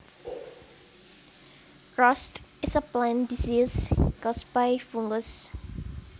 Rust is a plant disease caused by fungus